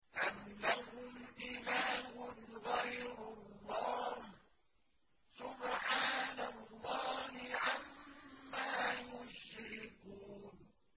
أَمْ لَهُمْ إِلَٰهٌ غَيْرُ اللَّهِ ۚ سُبْحَانَ اللَّهِ عَمَّا يُشْرِكُونَ